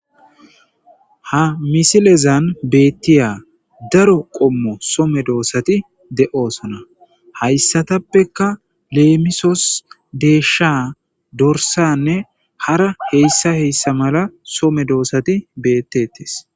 Ha misilezan betay daro qomo soo medosati de'osona haysatapeka lemisos desha dorisane hara hesa hesa mala soo medosati betes